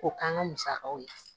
K'o k'an ka musakaw ye